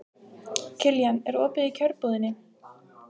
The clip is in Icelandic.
Kiljan, er opið í Kjörbúðinni?